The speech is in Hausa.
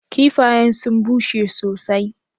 Kiffayen sun bushe sosai.